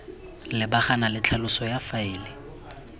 lebagana le tlhaloso ya faele